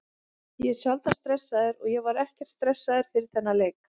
Ég er sjaldan stressaður og ég var ekkert stressaður fyrir þennan leik.